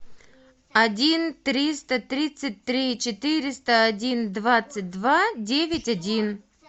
один триста тридцать три четыреста один двадцать два девять один